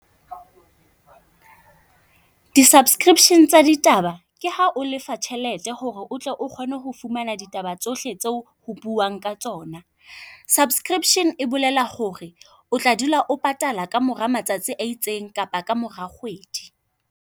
Disubscription tsa ditaba ke ha o lefa tjhelete ho re o tle o kgone ho fumana ditaba tsohle tseo ho buuwang ka tsona. Subscription e bolela ho re o tla dula o patala ka mora matsatsi a itseng kapa kamora kgwedi.